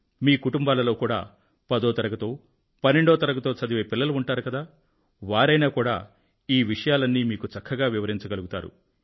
మీ కుటుంబాలలో కూడా పదో తరగతో పన్నెండో తరగతో చదివే పిల్లలు ఉంటారు కదా వారైనా కూడా ఈ విషయాలన్నీ మీకు చక్కగా వివరించగలుగుతారు